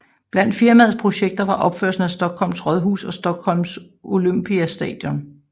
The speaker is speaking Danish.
Blandt firmaets projekter var opførelsen af Stockholms rådhus og Stockholm Olympiastadion